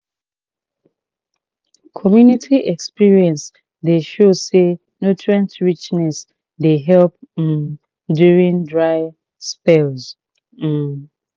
community experience dey show say nutrient richness dey help um during dry spells um